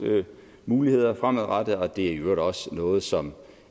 muligheder fremadrettet og det er i øvrigt også noget som